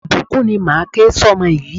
Ìbùkún ni máa ke sọ ọmọ yìí.